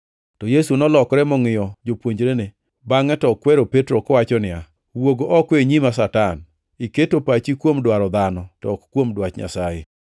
To Yesu nolokore mongʼiyo jopuonjrene, bangʼe to okwero Petro kowacho niya, “Wuog oko e nyima Satan! Iketo pachi kuom dwaro dhano, to ok kuom dwach Nyasaye.”